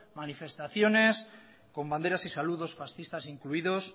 manifestaciones con banderas y saludos fascistas incluidos